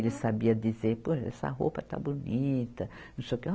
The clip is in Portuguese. Ele sabia dizer, pô, essa roupa está bonita, não sei o que.